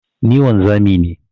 Ni wanzami ne.